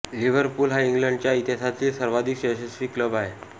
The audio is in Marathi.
लिव्हरपूल हा इंग्लंडच्या इतिहासातील सर्वाधिक यशस्वी क्लब आहे